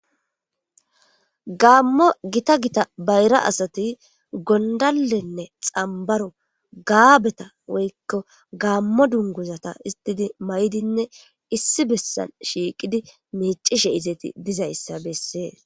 Gamo gitta gitta bayra asati gondalenne xambaro gaabeta woykko gamo dunguzata istidi may'idinne issi bessan shiiqidi miicishe izeeti bizayssa bessee